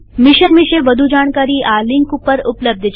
mission વિષે વધુ જાણકારી આ લિંક ઉપર ઉપલબ્ધ છે